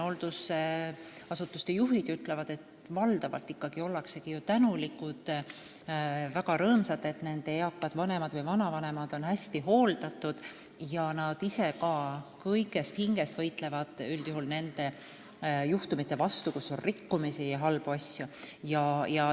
Hooldusasutuste juhid ütlevad, et valdavalt on inimesed tänulikud ja väga rõõmsad, kui nende eakad vanemad või vanavanemad on hästi hooldatud, ning võitlevad ise ka kõigest hingest rikkumiste ja halbade juhtumite vastu.